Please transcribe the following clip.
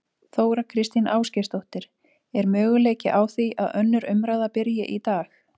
Þóra Kristín Ásgeirsdóttir: Er möguleiki á því að önnur umræða byrji í dag?